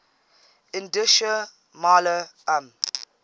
indischer maler um